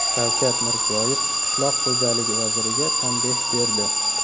Shavkat Mirziyoyev qishloq xo‘jaligi vaziriga tanbeh berdi.